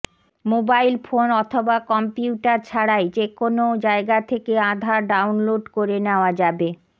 mobile phone অথবা computer ছাড়াই যে কোনও জায়গা থেকে আধার ডাউনলোড করে নেওয়া যাবে